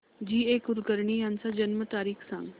जी A Kulkarni यांची जन्म तारीख सांग